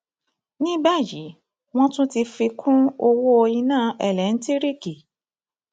ní báyìí wọn tún ti fi kún ọwọ iná eléńtíríìkì